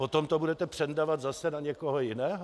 Potom to budete přendavat zase na někoho jiného?